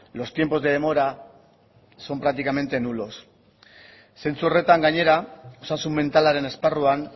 los tiempos de demora son prácticamente nulos zentzu horretan gainera osasun mentalaren esparruan